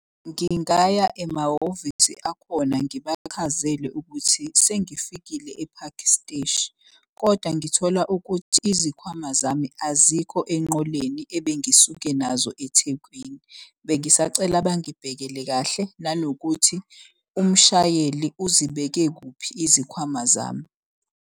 Ngingaya emahhovisi akhona ngibachazele ukuthi sengifikile ePhakhi Steshi, kodwa ngithola ukuthi izikhwama zami azikho enqoleni ebengisuke nazo eThekwini. Bengisacela bangibhekele kahle nanokuthi umshayeli uzibeke kuphi izikhwama zami.